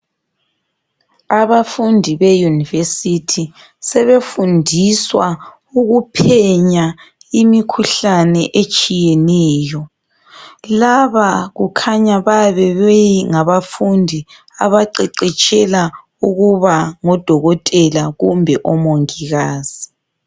Abafundi be University sebefundiswa ukuphenya imikhuhlane etshiyeneyo , laba kukhanya bayabe bengabafundi abaqeqetshela ukuba ngodokotela kumbe oMongikazi.